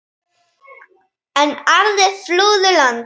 Enn aðrir flúðu land.